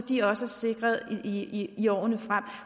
de også er sikret i i årene frem